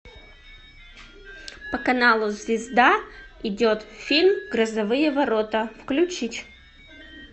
по каналу звезда идет фильм грозовые ворота включить